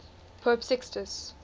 pope sixtus